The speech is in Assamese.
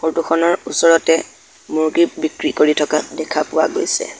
ফটো খনৰ ওচৰতে মূৰ্গী বিক্ৰী কৰি থকা দেখা পোৱা গৈছে।